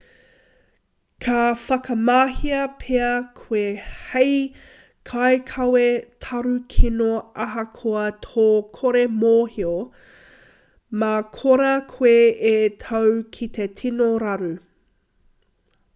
ka whakamahia pea koe hei kaikawe tarukino ahakoa tō kore mōhio mā korā koe e tau ki te tino raru